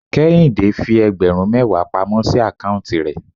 Kéhìndé fi ẹgbẹ̀rún mẹwa pamọ́ sí account rẹ̀.